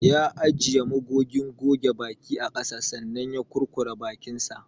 Ya ajiye magogin goge baki a kasa sannan ya kurkura bakinsa.